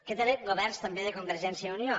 aquests eren governs també de convergència i unió